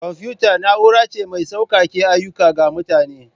Kwamfuta na'ura ce mai sauƙake ayyuka ga mutane.